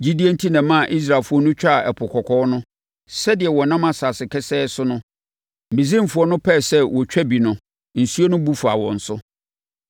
Gyidie enti na ɛmaa Israelfoɔ no twaa Ɛpo Kɔkɔɔ no, sɛdeɛ wɔnam asase kesee so no. Misraimfoɔ no pɛɛ sɛ wɔtwa bi no, nsuo no bu faa wɔn so.